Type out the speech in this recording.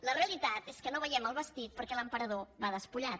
la realitat és que no veiem el vestit perquè l’emperador va despullat